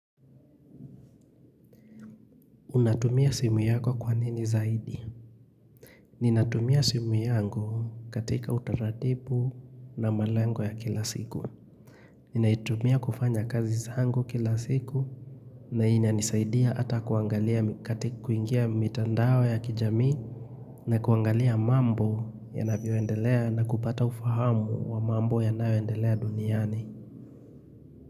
Unatumia simu yako kwa nini zaidi? Ninatumia simu yangu katika utaratibu na malengo ya kila siku. Ninaitumia kufanya kazi zangu kila siku na inanisaidia hata kuangalia katika kuingia mitandao ya kijamii na kuangalia mambo yanavyoendelea na kupata ufahamu wa mambo yanayo endelea duniani.